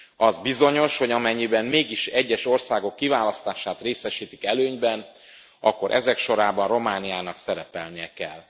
Az bizonyos, hogy amennyiben mégis egyes országok kiválasztását részesítik előnyben, akkor ezek sorában Romániának szerepelnie kell.